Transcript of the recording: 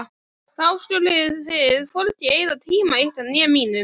Þá skuluð þið hvorki eyða tíma ykkar né mínum.